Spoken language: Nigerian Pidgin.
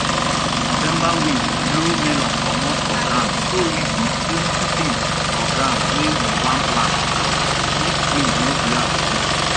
november wind blow melon comot for ground so we put plenty things for ground wey we wan plant am make wind no blow am commot